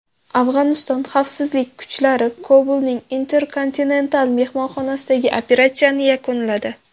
Afg‘oniston xavfsizlik kuchlari Kobulning Intercontinental mehmonxonasidagi operatsiyani yakunladi.